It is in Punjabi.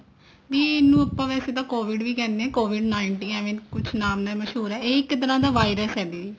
ਦੀਦੀ ਇਹਨੂੰ ਆਪਾਂ ਵੈਸੇ ਤਾਂ could ਵੀ ਕਹਿੰਦੇ ਵੀ could nineteen ਕੁਛ ਨਾਮ ਨਾਲ ਮਸਹੂਰ ਇਹ ਇੱਕ ਤਰ੍ਹਾਂ